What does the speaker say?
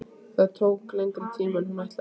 Það tók lengri tíma en hún ætlaði.